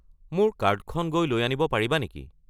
মোৰ কাৰ্ডখন গৈ লৈ আনিব পাৰিবা নেকি?